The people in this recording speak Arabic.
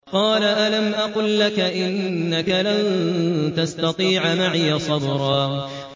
۞ قَالَ أَلَمْ أَقُل لَّكَ إِنَّكَ لَن تَسْتَطِيعَ مَعِيَ صَبْرًا